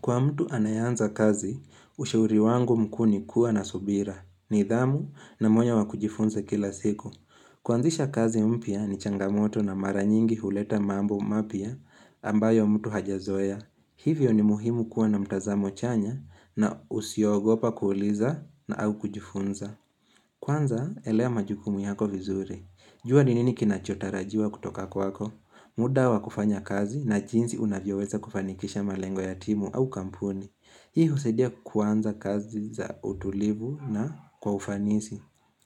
Kwa mtu anayeanza kazi, ushauri wangu mkuu ni kuwa na subira. Nidhamu na moyo wa kujifunza kila siku. Kuanzisha kazi mpya ni changamoto na maranyingi huleta mambo mapya ambayo mtu hajazoea. Hivyo ni muhimu kuwa na mtazamo chanya na usiogopa kuuliza na au kujifunza. Kwanza elewa majukumu yako vizuri. Jua ninini kinachotarajiwa kutoka kwako? Muda wa kufanya kazi na jinsi unavyoweza kufanikisha malengo ya timu au kampuni Hii husaidia kuanza kazi za utulivu na kwa ufanisi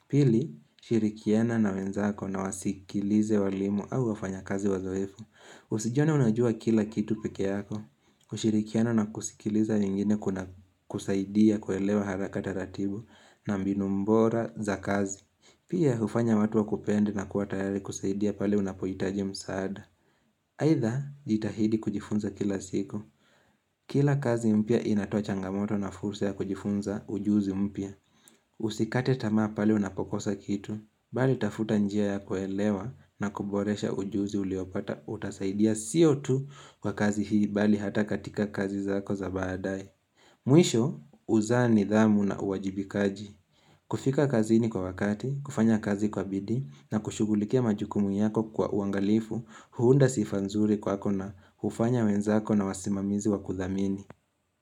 Pili, shirikiana na wenzako na wasikilize walimu au wafanya kazi wazoefu Usijione unajua kila kitu pekeyako kushirikiana na kusikiliza wengine kuna kusaidia kuelewa haraka taratibu na mbinu bora za kazi Pia hufanya watu wakupende na kuwatayari kusaidia pale unapohitaji msaada. Aidha jitahidi kujifunza kila siku. Kila kazi mpya inatoa changamoto na fursa ya kujifunza ujuzi mpya. Usikate tamaa pale unapokosa kitu. Bali tafuta njia ya kuelewa na kuboresha ujuzi uliopata utasaidia siyo tu kwa kazi hii bali hata katika kazi zako za baadae. Mwisho, uzaa nidhamu na uwajibikaji. Kufika kazini kwa wakati, kufanya kazi kwa bidii na kushughulikia majukumu yako kwa uangalifu huunda sifanzuri kwako na hufanya wenzako na wasimamizi wa kuthamini.